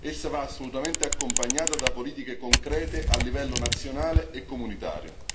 Essa va assolutamente accompagnata da politiche concrete a livello nazionale e comunitario.